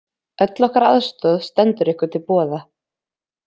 Öll okkar aðstoð stendur ykkur til boða.